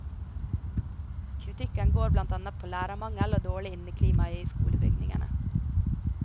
Kritikken går blant annet på lærermangel og dårlig inneklima i skolebygningene.